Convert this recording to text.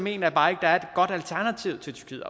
jeg bare ikke der er et godt alternativ til til